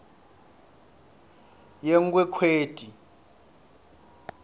yenkhwekhweti